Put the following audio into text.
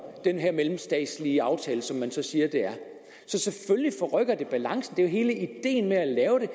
den her mellemstatslige aftale som man så siger at det er så selvfølgelig forrykker det balancen det er jo hele ideen med at lave det